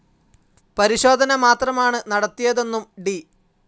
പരിശോധന മാത്രമാണ് നടത്തിയതെന്നും ഡി.